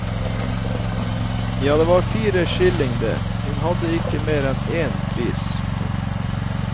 Ja, det var fire skilling det, hun hadde ikke mer enn én pris, hun.